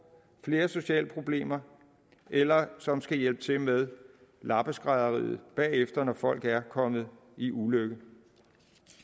flere sociale problemer eller som skal hjælpe til med lappeskrædderiet bagefter når folk er kommet i ulykke